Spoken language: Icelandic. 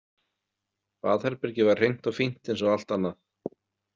Baðherbergið var hreint og fínt eins og allt annað.